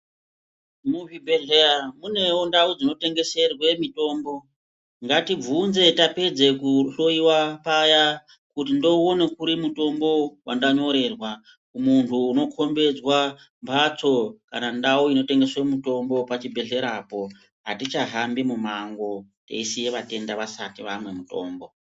Muzvibhedhleya munewo ndau dzinotengeserwe mitombo ngatibvunze tapedzatapedza kuhloyiwa paya kuti ndouona kuri mutombo wandanyorerwa muntu unokombidzwa mbatso kana ndau inotengeswa mutombo pachibhedhlerapo atichahambi mumango teisiya vatenda vasati vanwa mutombo.